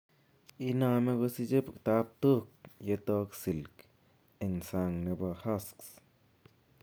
Iname kosiche tabtook yetok silk en sang nebo husks